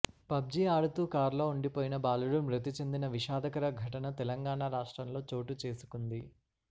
పబ్జీఆడుతూ కారులో ఉండిపోయిన బాలుడు మృతి చెందిన విషాదకర ఘటన తెలంగాణా రాష్ట్రంలో చోటు చేసుకుంది